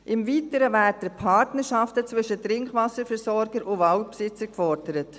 Im Weiteren werden Partnerschaften zwischen Trinkwasserversorgern und Waldbesitzern gefordert.